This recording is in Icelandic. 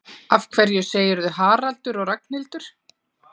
Af hverju segirðu Haraldur og Ragnhildur?